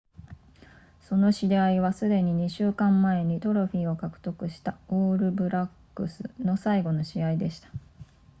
その試合はすでに2週間前にトロフィーを獲得したオールブラックスの最後の試合でした